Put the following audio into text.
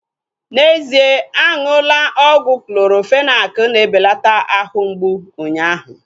N'ezie aṅụla ọgwụ Clorofenak na-ebelata ahụ mgbụ unyaahu